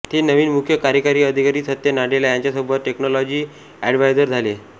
ते नवीन मुख्य कार्यकारी अधिकारी सत्य नाडेला यांच्यासोबत टेक्नोलॉजी एडव्हायझर झाले